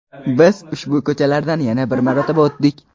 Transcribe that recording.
Biz ushbu ko‘chalardan yana bir marotaba o‘tdik.